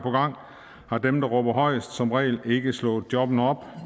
har dem der råber højest som regel ikke slået jobbene op